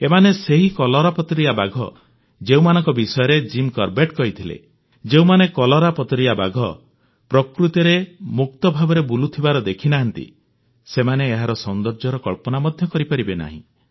ଏମାନେ ସେହି କଲରାପତରିଆ ବାଘ ଯେଉଁମାନଙ୍କ ବିଷୟରେ ଜିମ୍ କରବେଟ୍ କହିଥିଲେ ଯେଉଁମାନେ କଲରାପତରିଆ ବାଘ ପ୍ରକୃତିରେ ମୁକ୍ତ ଭାବରେ ବୁଲୁଥିବାର ଦେଖିନାହାଁନ୍ତି ସେମାନେ ଏହାର ସୌନ୍ଦର୍ଯ୍ୟର କଳ୍ପନା ମଧ୍ୟ କରିପାରିବେ ନାହିଁ